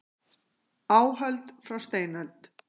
Áhöld frá steinöld.